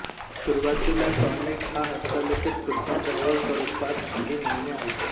सुरुवातीला टॉनिक हा हस्तलिखित कृष्णधवल स्वरूपात काही महिने आला